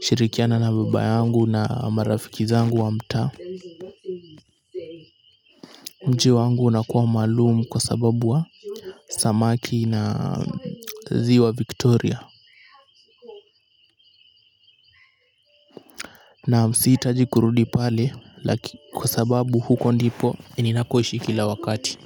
kushirikiana na baba yangu na marafiki zangu wa mtaa. Mji wangu unakuwa maalumu kwa sababu wa samaki na ziwa Victoria. Naam siitaji kurudi pale kwa sababu huko ndipo ninakoishi kila wakati.